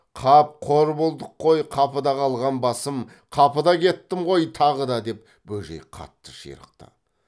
қап қор болдық қой қапыда қалған басым қапыда кеттім ғой тағы да деп бөжей қатты ширықты